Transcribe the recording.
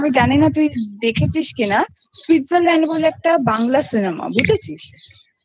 আমি জানিনা তুই দেখেছিস কিনা Swizerland বলে একটা বাংলা Cinema বুঝেছিস?